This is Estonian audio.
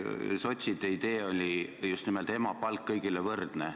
Sotside idee oli just nimelt emapalk, kõigile võrdne.